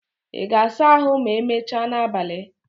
Ị ga-asa ahụ ma emechaa n'abalị?